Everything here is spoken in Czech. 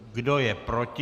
Kdo je proti?